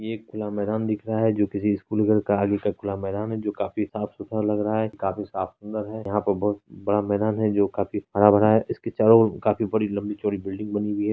ये एक खुला मैदान दिख रहा है जो किसी स्कूल घर का खुला मैदान है जो काफी साफ़ सुथरा लग रहा है काफी साफ सुन्दर है यहाँ पर बहुत बड़ा मैदान है जो काफी हरा भरा है इसके चारोओर काफी बड़ी लम्बी चौड़ी बिल्डिंग बनी हुई है।